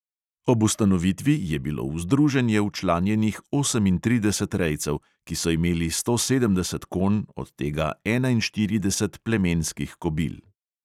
Ob ustanovitvi je bilo v združenje včlanjenih osemintrideset rejcev, ki so imeli sto sedemdeset konj, od tega enainštirideset plemenskih kobil.